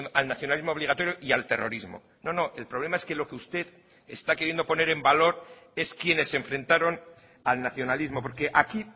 al nacionalismo obligatorio y al terrorismo no no el problema es que lo que usted está queriendo poner en valor es quienes enfrentaron al nacionalismo porque aquí